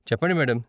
చెప్పండి మేడం.